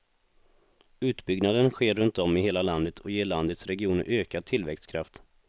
Utbyggnaden sker runtom i hela landet och ger landets regioner ökad tillväxtkraft.